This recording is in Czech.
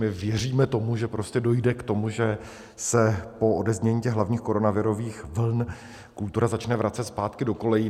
My věříme tomu, že prostě dojde k tomu, že se po odeznění těch hlavních koronavirových vln kultura začne vracet zpátky do kolejí.